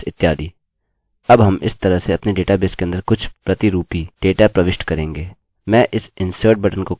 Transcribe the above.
अब हम इस तरह से अपने डेटाबेस के अंदर कुछ प्रतिरूपी डमी डेटा प्रविष्ट करेंगे